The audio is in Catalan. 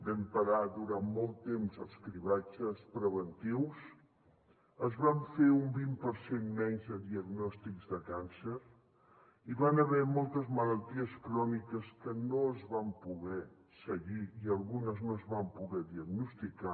vam parar durant molt temps els cribratges preventius es van fer un vint per cent menys de diagnòstics de càncer hi van haver moltes malalties cròniques que no es van poder seguir i algunes no es van poder diagnosticar